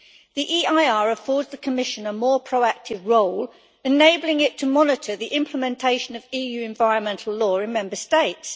The EIR affords the Commission a more proactive role, enabling it to monitor the implementation of EU environmental law in Member States.